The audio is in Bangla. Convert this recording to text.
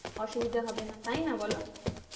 অসুবিধা হবে না তাই না বলো